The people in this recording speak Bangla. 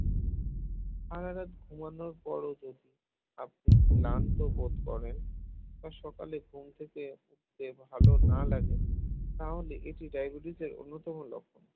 আলাদা ঘুমানোর পরেও যদি আপনি ক্লান্ত বোধ করেন বা সকালে ঘুম থেকে উঠতে ভালো না লাগে তাহলে এটি diabetes র অন্যতম লক্ষণ